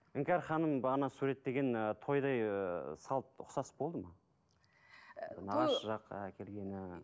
іңкәр ханым бағана суреттеген ы тойдай ы салт ұқсас болды ма нағашы жақ әкелгені